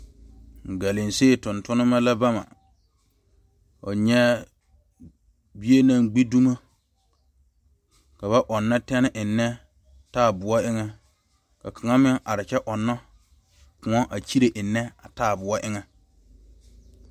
Galansey tuŋturema la ba mɛ fo nyɛ bie naŋ gbe domo ka ba ɔnno tene enne taayɛboɔ eŋa ka kaŋa meŋ are kyɛ ɔnno kõɔ a kyire enne a taayɛboɔ eŋa.